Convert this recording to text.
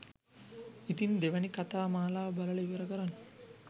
ඉතින් දෙවෙනි කතා මාලාව බලලා ඉවර කරන්න